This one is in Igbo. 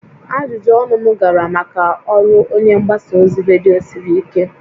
Ajụjụ ọnụ m gara maka ọrụ onye mgbasa ozi redio siri ike